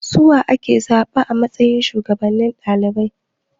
Suwa ake zaba a matsayin shuwagabannin ɗalibai?